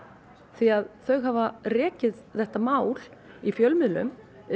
því að þau hafa rekið þetta mál í fjölmiðlum